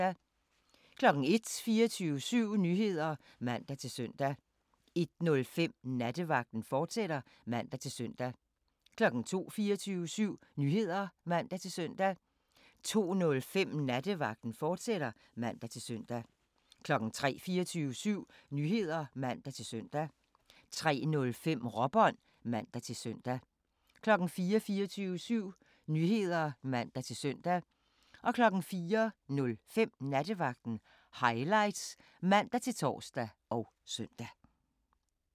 01:00: 24syv Nyheder (man-søn) 01:05: Nattevagten, fortsat (man-søn) 02:00: 24syv Nyheder (man-søn) 02:05: Nattevagten, fortsat (man-søn) 03:00: 24syv Nyheder (man-søn) 03:05: Råbånd (man-søn) 04:00: 24syv Nyheder (man-søn) 04:05: Nattevagten Highlights (man-tor og søn)